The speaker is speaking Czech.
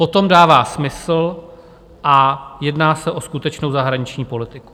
Potom dává smysl a jedná se o skutečnou zahraniční politiku.